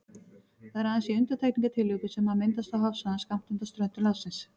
Það er aðeins í undantekningartilvikum sem hann myndast á hafsvæðum skammt undan ströndum landsins.